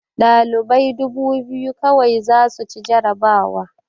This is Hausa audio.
Ɗalibai dubu biyu kawai za su ci jarabawa